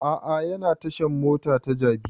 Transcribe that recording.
A'a yana tashan mota ta jabi